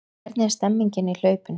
Hvernig er stemningin í hlaupinu?